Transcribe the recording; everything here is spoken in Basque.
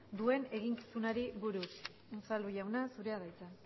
duen eginkizunari buruz unzalu jauna zurea da hitza